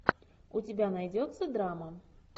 у тебя найдется драма